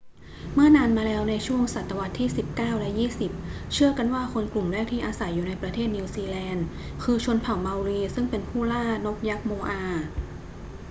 เมื่อนานมาแล้วในช่วงศตวรรษที่สิบเก้าและยี่สิบ เชื่อกันว่าคนกลุ่มแรกที่อยู่อาศัยในประเทศนิวซีแลนด์คือชนเผ่าเมารีซึ่งเป็นผู้ล่านกยักษ์โมอา